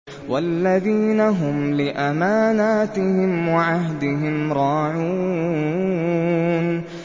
وَالَّذِينَ هُمْ لِأَمَانَاتِهِمْ وَعَهْدِهِمْ رَاعُونَ